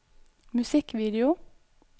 musikkvideo